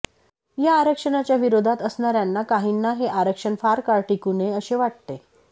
या आरक्षणाच्या विरोधात असणाऱ्यांना काहींना हे आरक्षण फार काळ टिकू नये असे वाटते